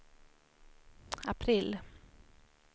april